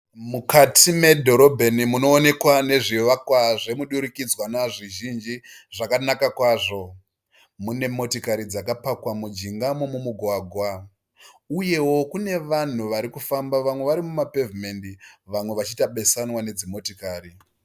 Mukati medhorobheni munoonekwa nezvivakwa zvemidurikidzanwa zvizhinji zvakanaka kwazvo. Mune dzimotikari dzakapakwa mujinga momumugwagwa uyewo kune vanhu vari kufamba muma pevhimendi vamwe vachiita besanwa nedzimotikari.